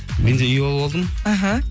мен де үй алып алдым іхі